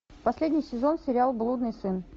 последний сезон сериал блудный сын